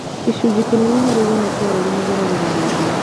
Gĩcunjĩ kĩnene harĩ igana kĩa arũaru mageragĩra rabu